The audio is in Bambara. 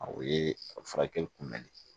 O ye a furakɛli kunbɛnli